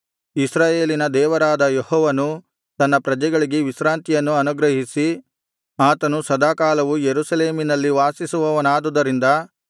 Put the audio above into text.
ಇಸ್ರಾಯೇಲಿನ ದೇವರಾದ ಯೆಹೋವನು ತನ್ನ ಪ್ರಜೆಗಳಿಗೆ ವಿಶ್ರಾಂತಿಯನ್ನು ಅನುಗ್ರಹಿಸಿ ಆತನು ಸದಾಕಾಲವೂ ಯೆರೂಸಲೇಮಿನಲ್ಲಿ ವಾಸಿಸುವವನಾದುದರಿಂದ